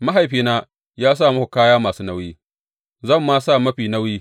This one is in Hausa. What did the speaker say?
Mahaifina ya sa muku kaya masu nauyi; zan ma sa mafi nauyi.